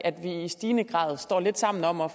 i stigende grad stod lidt sammen om at